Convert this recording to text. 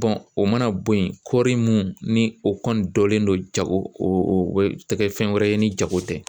o mana bɔ yen kɔéri mun ni o kɔni bɔlen don jago o tɛ kɛ fɛn wɛrɛ ye ni jago tɛ